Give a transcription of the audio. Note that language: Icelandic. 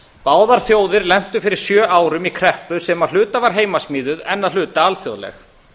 báðar þjóðir lentu fyrir sjö árum í kreppu sem að hluta var heimasmíðuð en að hluta alþjóðleg